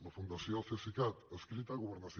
la fundació cesicat adscrita a governació